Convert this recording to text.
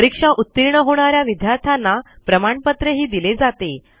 परीक्षा उतीर्ण होणा या विद्यार्थ्यांना प्रमाणपत्रही दिले जाते